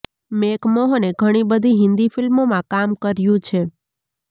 make મોહને ઘણી બધી હિન્દી ફિલ્મોમાં કામ કર્યું છે